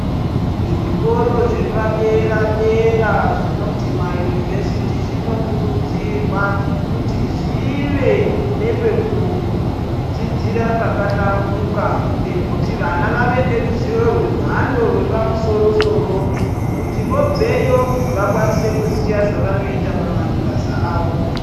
Zvikoro zvepadera dera zvinonzi maunivhesiti zvinokurudzirwa kuti zvinge zvine pekudzidzira pakahlamburika Pekuti vana vange vane ruzivo repamusoro soro kuti vobveyo vazive zvavanga akwanise kuita pamabasa awo.